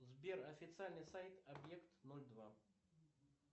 сбер официальный сайт объект ноль два